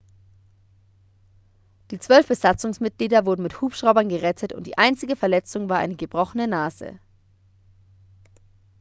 die zwölf besatzungsmitglieder wurden mit hubschraubern gerettet und die einzige verletzung war eine gebrochene nase